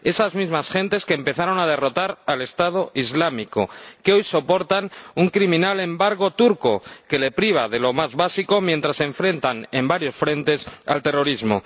Esas mismas gentes que empezaron a derrotar al Estado Islámico, que hoy soportan un criminal embargo turco que les priva de lo más básico, mientras se enfrentan en varios frentes al terrorismo.